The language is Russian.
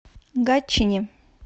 гатчине